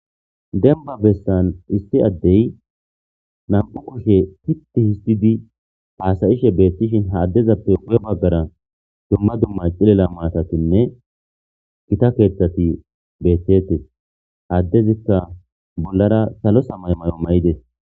Denba bessan issi addey nam'u koshe titti histidi paasayishe beettishin haaddezappe wu'e baggara dumma dumma cilela maatatinne kita keeththati beettetes haaddezikka bollara salo samay may'o mayides